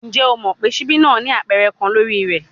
Njẹ o mọ pe sibi naa ni apẹrẹ kan lori rẹ?